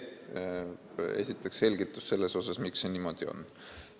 Esiteks selgitus selle kohta, miks see niimoodi on.